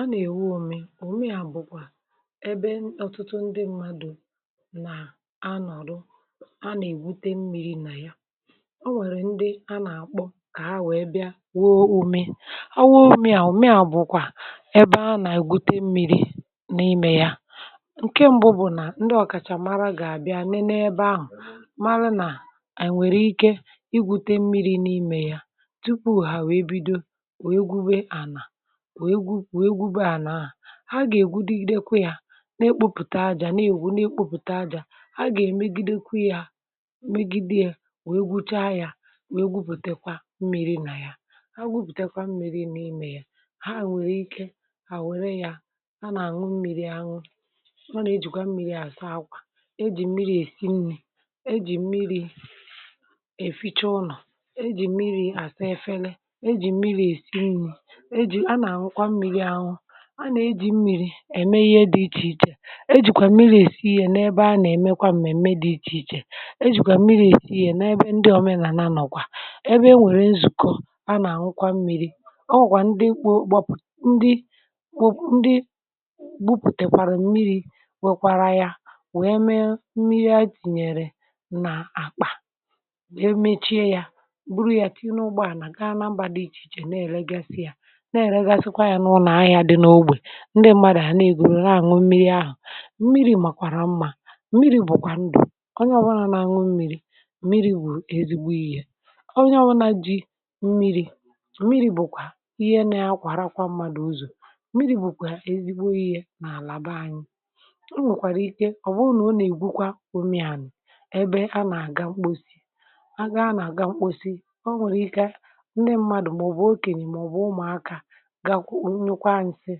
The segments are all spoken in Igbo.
a nà-èwu òme òme à bụkwa ebe ọtụtụ ndị mmadụ̇ nà-a nọ̀rọ a nà-èbute mmi̇ri̇ nà ya o nwèrè ndị a nà-àkpọ kà ha wèe bịa wụo omė ọ wụmị̇ a wụo omė a bụ̇kwà ebe a nà-ègbute mmi̇ri̇ n’imė ya ǹke m̀bụ bụ̀ nà ndị ọ̀kàchà mara gà-àbịa n’ebe ahụ̀ mara nà nwèrè ike igwute mmi̇ri̇ n’imė ya tupu hà wee bido wee gube ànà ha gà-ègwudi lekwa ya na-ekpupùta aja na-ègwu na-ègwu pùta aja ha gà-èmegidekwa ya megidee wee gwụcha ya wee gwupùtekwa mmi̇ri nà ya ha gwupùtekwa mmi̇ri n’ime ya ha nwère ike hà nwère ya ha nà-àṅụ mmi̇ri àṅụ ọ nà-ejìkwa mmi̇ri àsa akwà ejì mmi̇ri èsi nni̇ ejì mmi̇ri èficha ụnọ̀ ejì mmi̇ri àsa efela ejì mmi̇ri èsi nni̇ ème ihe dị ichèichè ejìkwà mmi̇ri èsi yė n’ebe a nà-èmekwa m̀mèm̀me dị̇ ichèichè ejìkwà mmi̇ri èsi yė n’ebe ndị òmenànọ̀kwa ebe e nwèrè nzùkọ̀ a nà-àhụkwa mmi̇ri̇ ọ wụ̀kwà ndị mkpọpụ̀ ndị wụpụ̀ ndị gwupùtèkwàrà mmi̇ri̇ wekwara yȧ wee mee mmi̇ri̇ a jìnyèrè nà-àkpà wee mechie yȧ buru yȧ tinye ụgbọà nà gaa n’ambȧ dị ichèichè na-èregasị yȧ ndị mmadù ahụ̀ na-egwùrù na-àñụ mmi̇ri ahụ̀ mmi̇ri̇ màkwàra mmȧ mmi̇ri̇ bụ̀kwà ndụ̀ onye ọwarà na-àñụ mmi̇ri̇ mmi̇ri̇ bụ̀ èzigbo ihe onye ọwarà jì mmi̇ri̇ bụ̀kwà ihe na-akwàrakwa mmadụ̀ ụzọ̀ mmi̇ri̇ bụ̀kwà èzigbo ihe nà-àlàba anyị o nwèkwàrà ike ọ̀bụrụ nà ọ nà-ègbukwa omì ànị̀ ebe a nà-àga mkposi a nà-àga mkposi ọ nwèrè ike ndị mmadù màọbụ̀ okènì màọbụ̀ ụmụ̀akȧ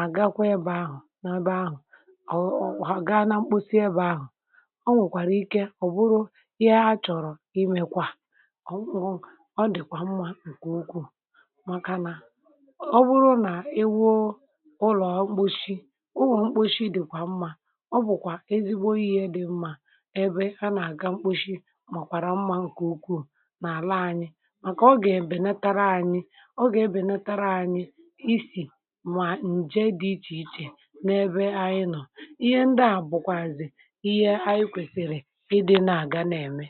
àgakwa ebe ahụ̀ nọ ebe ahụ̀ ọ̀ gaa na mkposi ebe ahụ̀ o nwèkwàrà ike ọ̀ bụrụ ihe a chọ̀rọ̀ imekwa ọ̀ dị̀kwà mmȧ ǹkè ukwuù màkà nà ọ bụrụ nà iwu̇ ụlọ̀ mkposi ụlọ̀ mkposi dị̀kwà mmȧ ọ bụ̀kwà ezigbo ihe dị̇ mmȧ ebe a nà-àga mkposi màkwàrà mmȧ ǹkè ukwuù n’àla anyị màkà ọ gà-èbènetara anyị ọ gà-ebènetara anyị n’ebe anyị nọọ̀ ihe ndị à bụ̀kwàzị̀ ihe anyị kwèsị̀rị̀ ịdị̇ nà-àga na-ème.